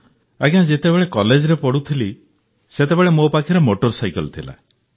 ଆଜ୍ଞା ଯେତେବେଳେ କଲେଜରେ ପଢ଼ୁଥିଲି ସେତେବେଳେ ମୋ ପାଖରେ ମୋଟର ସାଇକେଲ୍ ଥିଲା